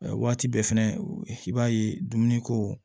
Waati bɛɛ fɛnɛ i b'a ye dumuniko